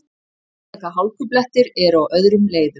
Einstaka hálkublettir eru á öðrum leiðum